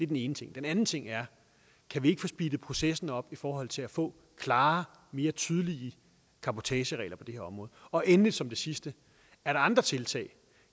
den ene ting den anden ting er kan vi ikke få speedet processen op i forhold til at få klarere og mere tydelige cabotageregler på det her område og endelig som det sidste er der andre tiltag